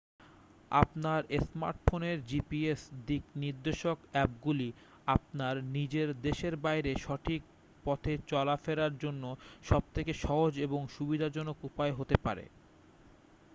আপনার স্মার্টফোনের জিপিএস দিক নির্দেশক অ্যাপগুলি আপনার নিজের দেশের বাইরে সঠিক পথে চলা ফেলার জন্য সব থেকে সহজ এবং সুবিধাজনক উপায় হতে পারে